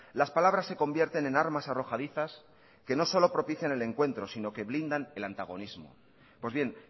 las palabras se convierten en armas arrojadizas que no solo propician el encuentro sino que blindan el antagonismo pues bien